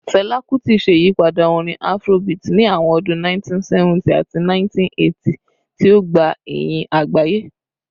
Fẹla Kuti ṣe iyipada orin Afrobeat ni awọn ọdun 1970 ati 1980, ti o gba iyin agbaye.